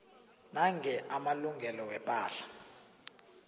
nange amalungelo wepahla